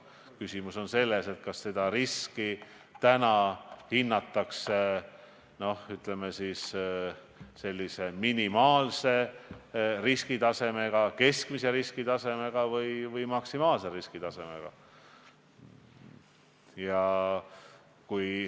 Küsimus on selles, kas seda riski hinnatakse täna minimaalseks, keskmiseks või maksimaalseks.